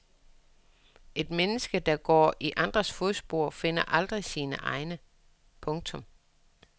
Et menneske der går i andres fodspor finder aldrig sine egne. punktum